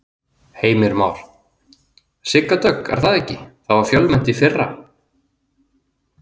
Heimir Már: Sigga Dögg er það ekki, það var fjölmennt í fyrra?